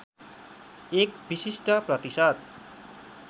एक विशिष्ट प्रतिशत